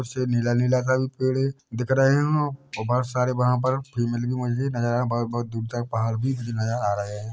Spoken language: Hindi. से नीला नीला सा भी पेड़ है दिख रहे है और बहोत सारे वहाँ पर फीमेल भी मुझे नज़र आ रहे है ब बहोत दूर तक पहाड़ भी मुझे नज़र आ रहे है।